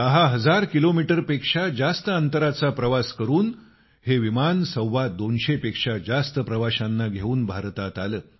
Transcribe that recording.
दहा हजार किलोमीटर पेक्षा जास्त दूरचा प्रवास करून हे विमान सव्वा दोनशे पेक्षा जास्त प्रवाशांना घेऊन भारतात आलं